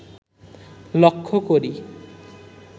লক্ষ করি